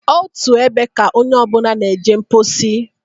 Otu ebe ka onye ọbụna na-eje mposi.